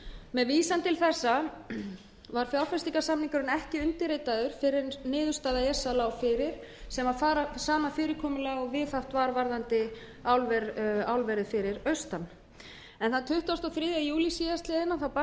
með vísan til þessa var fjárfestingarsamningurinn ekki undirritaður fyrr en niðurstaða esa lá fyrir sem var sama fyrirkomulag og viðhaft var varðandi álverið fyrir austan þann tuttugasta og þriðja júlí síðastliðinn barst